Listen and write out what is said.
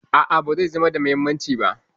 A'a, ba zai zama da muhimmanci ba